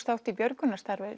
þátt í björgunarstarfi